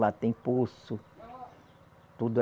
Lá tem poço. Toda